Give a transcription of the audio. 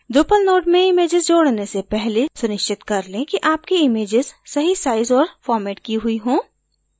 drupal node में images जोडने से पहले सुनिश्चित कर लें कि आपकी इमैजेस सही sized और formatted की हुई हों